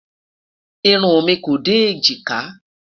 irún mí kò dé ejika